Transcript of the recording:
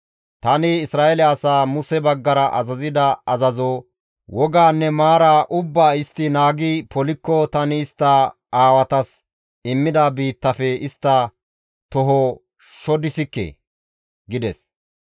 Tani Isra7eele asaa Muse baggara azazida azazo, woganne maara ubbaa istti naagi polikko tani istta aawatas immida biittafe istta toho shodissikke» gides.